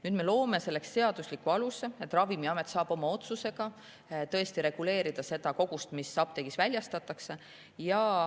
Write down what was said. Nüüd me loome selleks seadusliku aluse ja Ravimiamet saab oma otsusega reguleerida koguseid, mida apteegis väljastatakse.